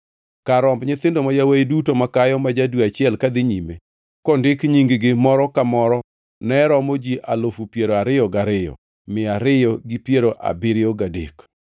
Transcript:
Kar romb nyithindo ma yawuowi duto makayo ma ja-dwe achiel kadhi nyime, kondik nying-gi moro ka moro ne romo ji alufu piero ariyo gariyo, mia ariyo gi piero abiriyo gadek (22,273).